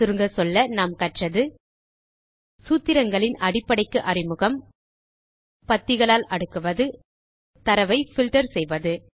சுருங்கச்சொல்ல நாம் கற்றது சூத்திரங்களின் அடிப்படைக்கு அறிமுகம் பத்திகளாக அடுக்குவது தரவை பில்டர் செய்வது